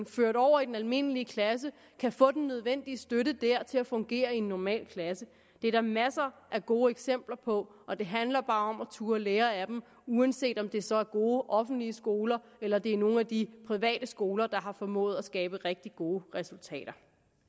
ført over i den almindelige klasse kan få den nødvendige støtte dér til at fungere i en normal klasse det er der masser af gode eksempler på og det handler bare om at turde lære af dem uanset om det så er gode offentlige skoler eller det er nogle af de private skoler der har formået at skabe rigtig gode resultater